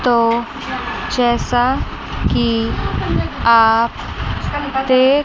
तो जैसा कि आप देख--